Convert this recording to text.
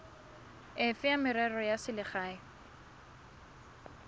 efe ya merero ya selegae